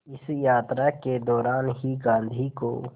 इस यात्रा के दौरान ही गांधी को